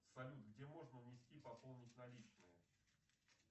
салют где можно внести пополнить наличные